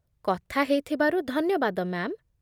କଥା ହେଇଥିବାରୁ ଧନ୍ୟବାଦ, ମ୍ୟା'ମ୍ ।